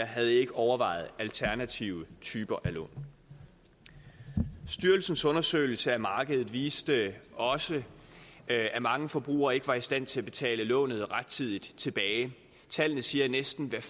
havde overvejet alternative typer af lån styrelsens undersøgelse af markedet viste også at at mange forbrugere ikke var i stand til at betale lånet rettidigt tilbage tallene siger at næsten hvert